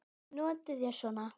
Notið þér svona?